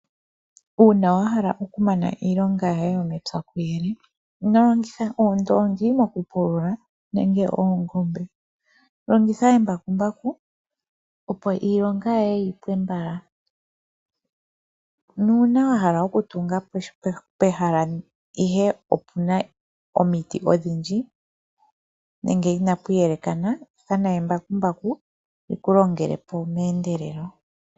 Uuna wa hala okumana iilonga yoye yomepya kuyele, ino longitha oondoongi mokupulula nenge oongombe. Longitha embakumbaku opo iilonga yoye yi pwe mbala, nuuna wa hala okutunga pehala ihe opena omiti odhindji nenge inapu yelekana ithana embakumbaku li ku longele po meendelelo